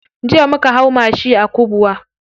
Jiya muka hau mashi a Kubwa.